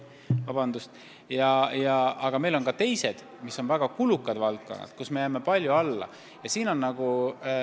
Samas on meil teised, ka väga kulukad valdkonnad, kus me jääme palju keskmisele alla.